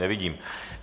Nevidím.